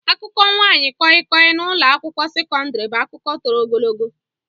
Akụkọ nwaanyị koi-koi na ụlọ akwụkwọ sekọndrị bụ akụkọ toro ogologo.